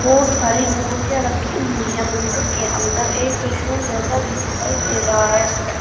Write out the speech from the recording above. बहुत सारी मूर्तियां रखी हुई हैं मंदिर के अंदर एक त्रिशूल जैसा भी दिखाई दे रहा है।